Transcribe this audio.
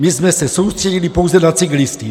My jsme se soustředili pouze na cyklisty.